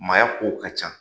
Maaya kow ka ca